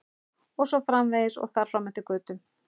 Og svo framvegis og þar fram eftir götum.